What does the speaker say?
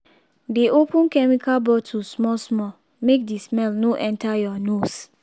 dey open chemical bottle small small make the smell no enter your nose